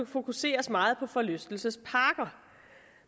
fokuseres meget på forlystelsesparker